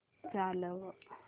चालव